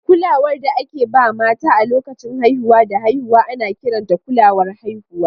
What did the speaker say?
Kulawar da ake ba mata a lokacin haihuwa da haihuwa ana kiranta kulawar haihuwa.